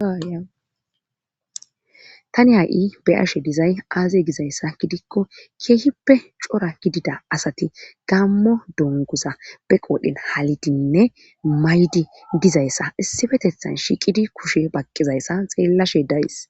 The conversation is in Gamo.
Tani ha7i be ashe dizay aaze gizayssa gidikko keehippe cora gidida asati gammo dongoza be qoodhen halidinne maydi dizayssa issifetethan shiiqidi kushe bakqizayssa xeellashe dayis.